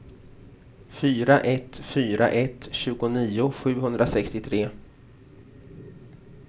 fyra ett fyra ett tjugonio sjuhundrasextiotre